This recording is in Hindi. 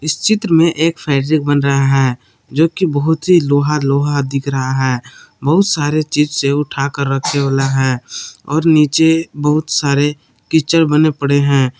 इस चित्र में एक फेड्रिक बन रहा है जो कि बहुत ही लोहा लोहा दिख रहा है बहुत सारे चीज से उठाकर रखे वाला है और नीचे बहुत सारे कीचड़ बने पड़े है।